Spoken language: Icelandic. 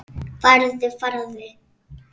Farðu, farðu.